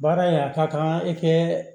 Baara in a ka kan i kɛ